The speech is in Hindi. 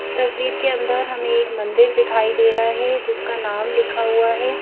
इस तस्वीर के अंदर हमें एक मंदिर दिखाई दे रहा है जिसका नाम लिखा हुआ है।